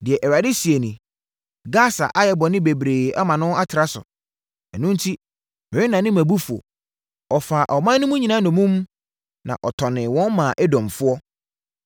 Deɛ Awurade seɛ nie: “Gasa ayɛ bɔne bebree ama no atra so, ɛno enti, merennane mʼabufuo no. Ɔfaa ɔman mu no nyinaa nnommum na ɔtɔnee wɔn maa Edomfoɔ.